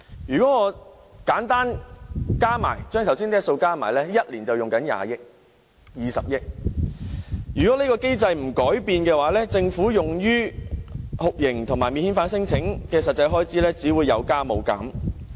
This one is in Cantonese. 如果把上述數字簡單加起來 ，1 年便要花20億元；如果這機制不改變，政府用於酷刑和免遣返聲請的實際開支只會有增無減。